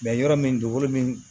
yɔrɔ min dugukolo min